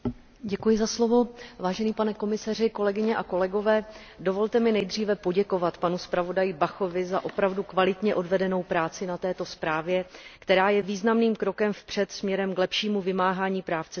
Pane komisaři, dovolte mi nejdříve poděkovat panu zpravodaji Bachovi za opravdu kvalitně odvedenou práci na této zprávě, která je významným krokem vpřed směrem k lepšímu vymáhání práv cestujících v letecké dopravě.